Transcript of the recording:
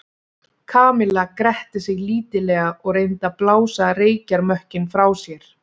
Kamilla gretti sig lítillega og reyndi að blása reykjarmökkinn frá sér.